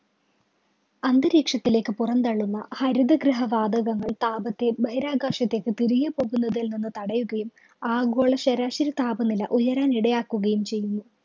അന്തരീക്ഷത്തിലേക്ക് പുറന്തള്ളുന്ന ഹരിതഗൃഹവാതകങ്ങള്‍ താപത്തെബഹിരാകാശത്തേക്ക് തിരികെ പോകുന്നതില്‍ നിന്ന് തടയുകയും ആഗോള ശരാശരി താപനില ഉയരാനിടയാക്കുകയും ചെയ്യുന്നു.